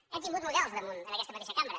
hem tingut models al damunt en aquesta mateixa cambra